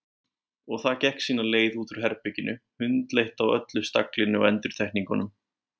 Og það gekk sína leið út úr herberginu, hundleitt á öllu staglinu og endurtekningunum.